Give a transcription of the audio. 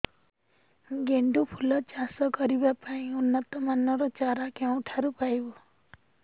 ଗେଣ୍ଡୁ ଫୁଲ ଚାଷ କରିବା ପାଇଁ ଉନ୍ନତ ମାନର ଚାରା କେଉଁଠାରୁ ପାଇବୁ